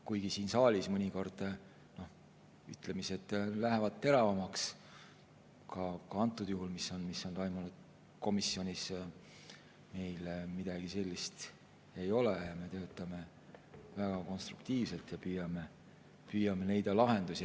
Kuigi siin saalis mõnikord ütlemised lähevad teravamaks, nagu ka antud juhul, siis komisjonis meil midagi sellist ei ole, me töötame väga konstruktiivselt ja püüame leida lahendusi.